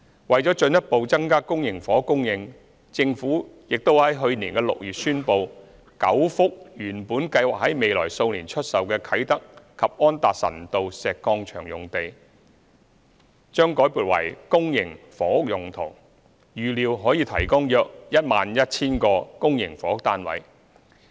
為進一步增加公營房屋供應，政府亦已於去年6月宣布 ，9 幅原本計劃在未來數年出售的啟德及安達臣道石礦場用地，將改撥為公營房屋用途，預料可提供約 11,000 個公營房屋單位。